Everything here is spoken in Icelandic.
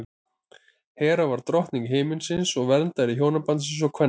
hera var drottning himinsins og verndari hjónabandsins og kvenna